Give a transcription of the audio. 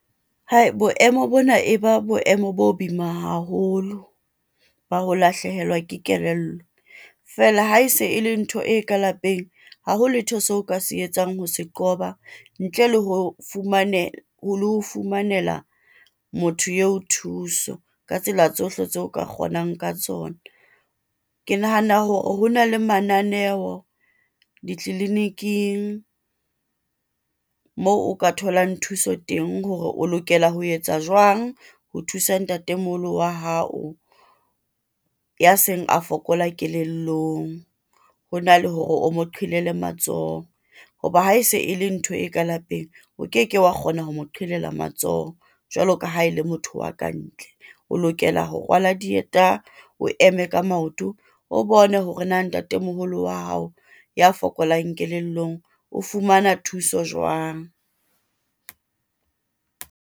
Hai, boemo bona e ba boemo bo boima haholo ba ho lahlehelwa ke kelello, feela ha e se e le ntho e ka lapeng haho letho seo o ka se etsang ha se qoba, ntle le ho lo fumanela motho eo thuso, ka tsela tsohle tseo o ka kgonang ka tsona. Ke nahana hore ho na le mananeo ditliliniking, moo o ka tholang thuso teng hore o lokela ho etsa jwang, ho thusa ntatemoholo wa hao ya seng a fokola kelellong, hona le hore o mo qelele matsoho. Hoba ha e se e le ntho e ka lapeng, o keke wa kgona ho mo qelela matsoho, jwaloka ha e le motho wa ka ntle. O lokela ho rwala dieta o eme ka maoto, o bone hore na ntatemoholo wa hao, ya fokolang kelellong o fumana thuso jwang.